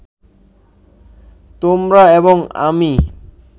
তোমরা এবং আমি